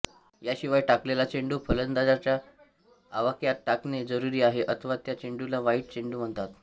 ह्या शिवाय टाकलेला चेंडू फलंदाजाच्या आवाक्यात टाकणे जरूरी आहे अथवा त्या चेंडूला वाईड चेंडू म्हणतात